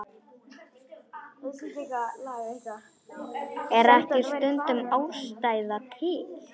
Er ekki stundum ástæða til?